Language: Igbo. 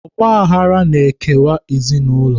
Ọgbaghara na-ekewa ezinụlọ.